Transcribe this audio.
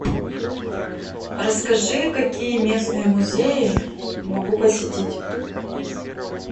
расскажи какие местные музеи могу посетить